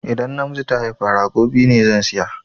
Idan namiji ta haifa, rago biyu ne zan saya